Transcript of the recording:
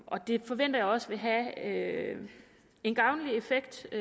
og det forventer jeg også vil have en gavnlig effekt